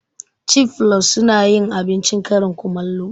Cif flus sunayin abincin karin kumallo